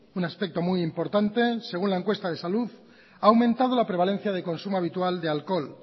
un aspecto muy importante según la encuesta de salud ha aumentado la prevalencia de consumo habitual de alcohol